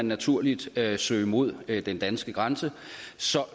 naturligt søge mod den danske grænse